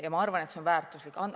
Ja ma arvan, et see on väärtuslik teave.